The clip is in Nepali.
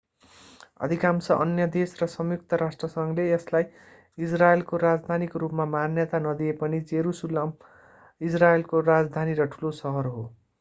अधिकांश अन्य देश र संयुक्त राष्ट्रसंघले यसलाई इजरायलको राजधानीको रूपमा मान्यता नदिए पनि जेरूसलम इजरायलको राजधानी र ठूलो शहर हो